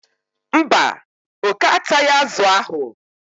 mba, oke ataghị azụ ahụ.